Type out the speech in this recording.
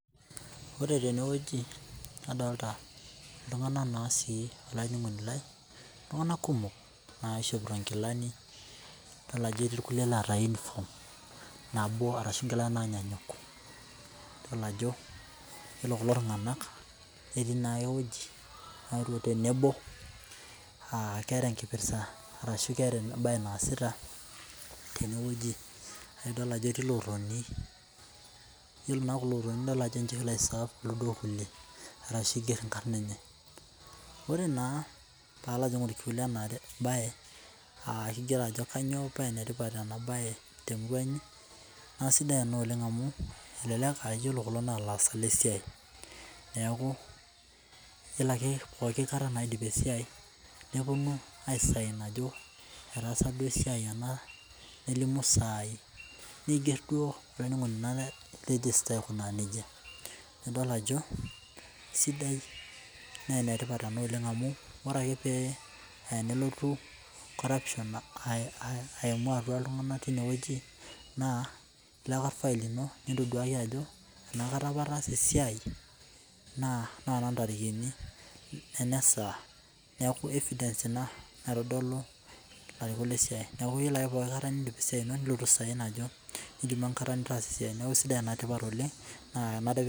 Ore teneweji nadolita iltungana naa sii olainining'oni lai ,iltungana kumok naaishopito enkilani idol aje etii nkule naata unifom nabo arashu inkila naanyanyuk idol ajo iyolo kulo tunganak netii naa eweji tenebo, aa keeta kipirta arashu keeta embaye naasita teneweji, naa idol ajo etii lootoni, iyolo naa kulo ootoni idol ajo ninche oaisaav duo illule arashu eigerr inkarna enyee. Ore naa paalo atum inkule anaa baye aa keigoro enchoto nyoo paa enetipat enabaye te murua inyii, naa esidai ena oleng amu ilo kulo naa laasak le siai, neeku iyolo ake pooki kata naidim esiai neponu aisain ajo etaasa duo esiai, nelimu saai neigeer olainining'oni lai rejista aikunaa neja, naa idol ajo esidai naa enetipat ena oleng amu, ore ake pee eya nelotu corruption aimu atua iltungana teineweji naa iya ilfail lino nintoduaaya iyie ajo anakata apa ataasa esiai naa nontarikini enasaa naaku evidens jna naitodolu ilarikok le siai, naaku iyolo ake pooki nkata niindip esiai nilo aisain ajo indipa inkata nitaasa esiai, naaku esidai na enetipat oleng, naa tenaa duo keidimai.